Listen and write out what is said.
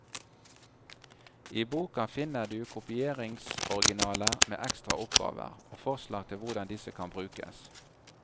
I boka finner du kopieringsoriginaler med ekstra oppgaver, og forslag til hvordan disse kan brukes.